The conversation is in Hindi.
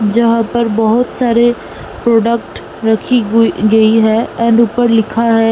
जहां पर बहोत सारे प्रोडक्ट रखी हुई गई है एण्ड ऊपर लिखा है।